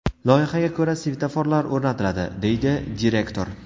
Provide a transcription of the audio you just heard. Loyihaga ko‘ra, svetoforlar o‘rnatiladi”, – deydi direktor.